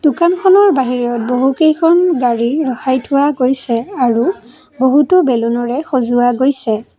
দোকানখনৰ বাহিৰত বহুকেইখন গাড়ী ৰখাই থোৱা গৈছে আৰু বহুতো বেলুনৰে সজাৱা গৈছে।